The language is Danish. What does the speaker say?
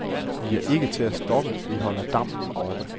Vi er ikke til at stoppe, vi holder dampen oppe.